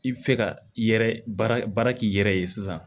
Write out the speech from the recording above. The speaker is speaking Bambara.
I bɛ fɛ ka i yɛrɛ baara k'i yɛrɛ ye sisan